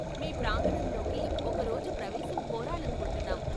మీ ప్రాంగణంలోకి ఒక రోజు ప్రవేశం కోరాలనుకుంటున్నాం.